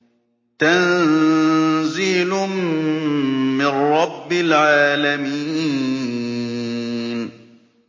تَنزِيلٌ مِّن رَّبِّ الْعَالَمِينَ